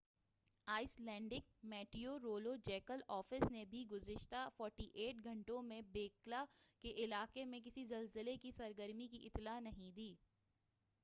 ice لینڈک meteorological office نے بھی گُزشتہ 48 گھنٹوں میں ہیکلا کے علاقے میں کسی زلزلے کی سرگرمی کی اطلاع نہیں دی